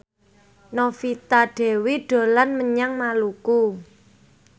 Novita Dewi dolan menyang Maluku